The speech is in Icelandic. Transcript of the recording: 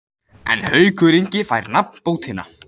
En Haukur Ingi fær nafnbótina.